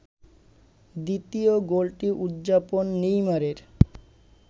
দ্বিতীয় গোলটি উদযাপন নেইমারের